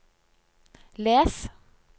les